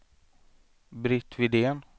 Britt Widén